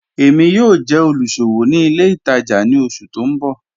Èmi yóò jẹ́ olúṣọwò ní ilẹ̀ ìtaja ni ọṣù tì n bọ̀.